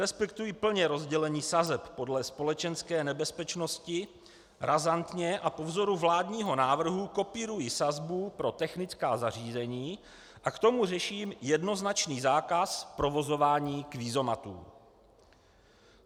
Respektuji plně rozdělení sazeb podle společenské nebezpečnosti, razantně a po vzoru vládního návrhu kopíruji sazbu pro technická zařízení a k tomu řeším jednoznačný zákaz provozování kvízomatů.